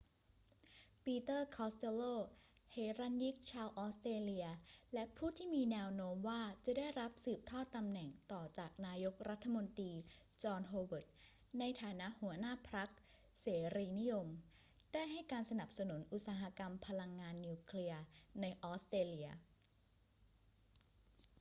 ปีเตอร์ คอสเตลโล เหรัญญิกชาวออสเตรเลียและผู้ที่มีแนวโน้มว่าจะได้รับสืบทอดตำแหน่งต่อจากนายกรัฐมนตรีจอห์น โฮเวิร์ด ในฐานะหัวหน้าพรรคเสรีนิยม ได้ให้การสนับสนุนอุตสาหกรรมพลังงานนิวเคลียร์ในออสเตรเลีย